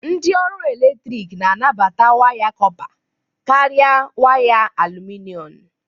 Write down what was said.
Ndị ọrụ eletrik na-anabata waya kọpa kari waya alụmịnọm